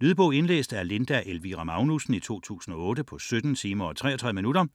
Lydbog 17909 Indlæst af Linda Elvira Magnussen, 2008. Spilletid: 17 timer, 33 minutter.